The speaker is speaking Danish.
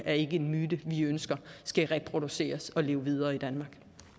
er en myte vi ønsker skal reproduceres og leve videre i danmark